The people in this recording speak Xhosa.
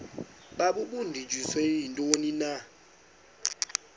babudunjiswe yintoni na